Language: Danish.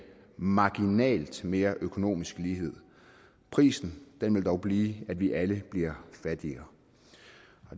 marginalt mere økonomisk lighed prisen vil dog blive at vi alle bliver fattigere